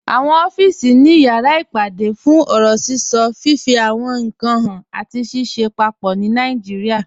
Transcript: Awọn ọ̀fíìsì ni awọn yàrá ìpàdé fún ọ̀rọ̀ síṣọ, fifí àwọn ìnkan háàn, àti ṣìṣẹ̀ pápọ̀ ní Nàìjíríà.